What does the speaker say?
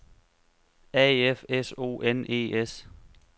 A F S O N E S